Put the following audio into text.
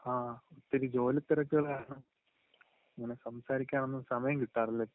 ആ ഇച്ചിരി ജോലിത്തിരക്കുകള് കാരണം ഇങ്ങനെ സംസാരിക്കാൻ ഒന്നും സമയം കിട്ടാറില്ലായിരുന്നു